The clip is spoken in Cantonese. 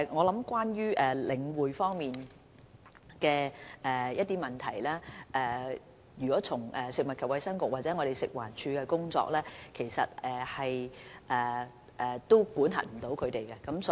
有關領展的問題，從食物及衞生局或食環署的工作來看，當局是無法加以管轄的。